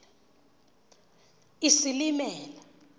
isilimela